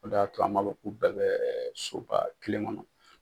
O de y'a to a b'an ka ko bɛɛ kɛ soba kelen kɔnɔ.